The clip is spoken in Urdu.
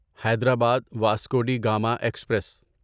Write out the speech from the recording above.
Hyderabad Vasco da Gama express